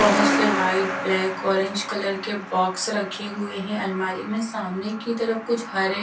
बहोत से white black orange colour के बॉक्स रखे हुए हैं अलमारी में सामने की तरफ कुछ हरे--